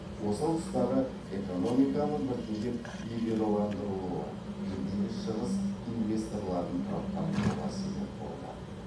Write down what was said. осал тұстары экономиканың біртіндеп либералдандырылуы елдегі шығыс инвесторларын тұрақтандыруға себеп болды